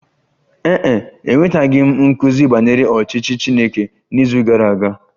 Ee e, enwetaghị m nkuzi banyere ọchịchị Chineke n'izu gara aga